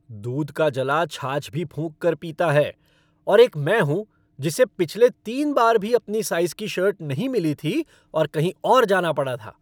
दूध का जला छाछ भी फूंक कर पीता है और एक मैं हूँ जिसे पिछले तीन बार भी अपनी साइज़ की शर्ट नहीं मिली थी और कहीं और जाना पड़ा था।